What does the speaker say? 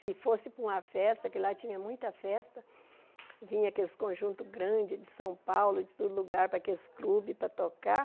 Se fosse para uma festa, que lá tinha muita festa, vinha aqueles conjuntos grandes de São Paulo, de todo lugar, para aqueles clubes, para tocar.